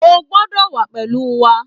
O ò gbọdọ̀ wà á pẹ̀lú wa